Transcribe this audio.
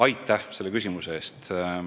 Aitäh selle küsimuse eest!